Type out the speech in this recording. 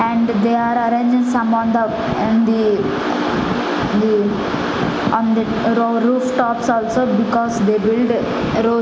and they are arranging some on the and the the on the roof tops also because they build --